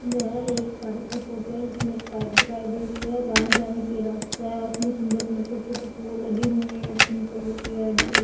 यह एक पार्क की फोटो है जिसमें एक पाइप दिखाई दे रही है और आने-जाने के लिए रास्ता है उसमें सुंदर-सुंदर छोटे-छोटे फूल लगे हुए हैं पिंक कलर के रेड कलर --